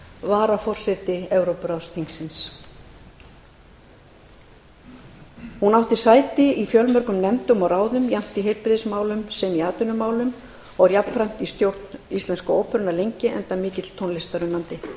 varaforseti evrópuráðsins hún átti sæti í fjölmörgum nefndum og ráðum jafnt í heilbrigðismálum sem atvinnumálum og var jafnframt í stjórn íslensku óperunnar lengi enda mikill tónlistarunnandi